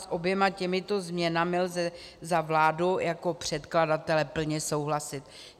S oběma těmito změnami lze za vládu jako předkladatele plně souhlasit.